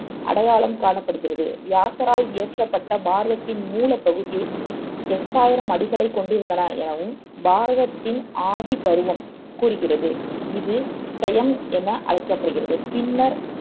அடையாளம் காணப்படுகிறது வியாசரால் இயற்றப்பட்ட பாரதத்தின் மூலப் பகுதியே எட்டாயிரம் அடிகளைக் கொண்டிருந்தது எனவும் பாரதத்தின் ஆதி பருவம் கூறுகிறது இது செயம் என அழைக்கப்படுகிறது பின்னர்